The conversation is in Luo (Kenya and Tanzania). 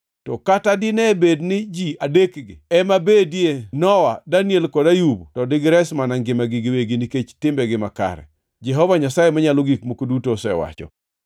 to kata dine bed ni ji adekgi ema bedie, Nowa, Daniel kod Ayub to digires mana ngimagi giwegi nikech timbegi makare, Jehova Nyasaye Manyalo Gik Moko Duto osewacho.